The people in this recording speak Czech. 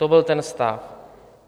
To byl ten stav.